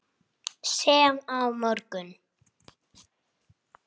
Sem á morgun.